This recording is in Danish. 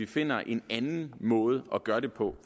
finder en anden måde at gøre det på